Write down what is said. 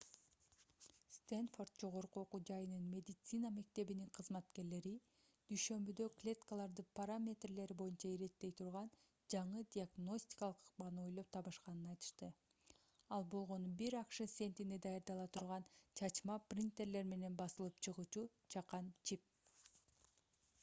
стэнфорд жогорку окуу жайынын медицина мектебинин кызматкерлери дүйшөмбүдө клеткаларды параметрлери боюнча иреттей турган жаңы диагностикалык ыкманы ойлоп табышканын айтышты ал болгону бир акш центине даярдала турган чачма принтерлер менен басылып чыгуучу чакан чип